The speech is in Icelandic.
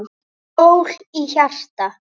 Sól í hjarta.